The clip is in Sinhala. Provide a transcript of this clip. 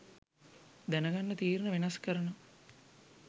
දැන් ගන්න තීරණ වෙනස් කරනවා.